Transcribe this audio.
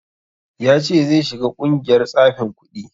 Ya ce zai shiga ƙungiyar tsafin kuɗi